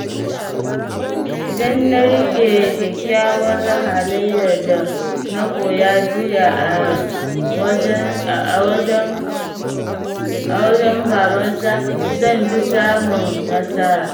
Idan na rike kyakkyawar halayyar da na koya jiya a wajen babansa, zan fi samun nasara.